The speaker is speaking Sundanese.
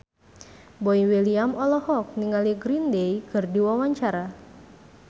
Boy William olohok ningali Green Day keur diwawancara